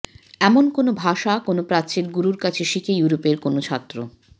এমন কোনও ভাষা কোনো প্রাচ্যের গুরুর কাছে শিখে ইউরোপের কোনও ছাত্র